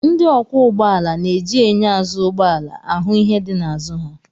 Ndị ọkwọ ụgbọala na-eji enyo azụ ụgbọ ala ahụ ihe dị n'azụ ha